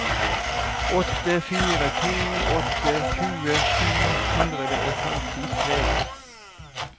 åtte fire to åtte tjue sju hundre og femtitre